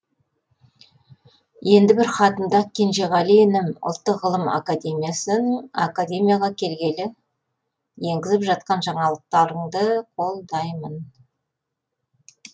енді бір хатында кенжеғали інім ұлттық ғылыми академияға келгелі енгізіп жатқан жаңалықтарыңды қолдаймын